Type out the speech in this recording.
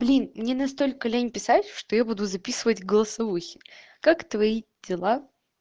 блин мне настолько лень писать что я буду записывать голосовухи как твои дела